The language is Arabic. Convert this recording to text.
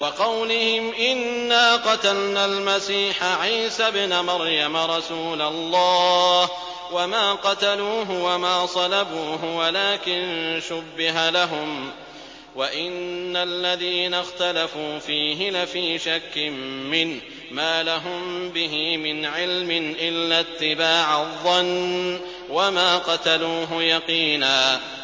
وَقَوْلِهِمْ إِنَّا قَتَلْنَا الْمَسِيحَ عِيسَى ابْنَ مَرْيَمَ رَسُولَ اللَّهِ وَمَا قَتَلُوهُ وَمَا صَلَبُوهُ وَلَٰكِن شُبِّهَ لَهُمْ ۚ وَإِنَّ الَّذِينَ اخْتَلَفُوا فِيهِ لَفِي شَكٍّ مِّنْهُ ۚ مَا لَهُم بِهِ مِنْ عِلْمٍ إِلَّا اتِّبَاعَ الظَّنِّ ۚ وَمَا قَتَلُوهُ يَقِينًا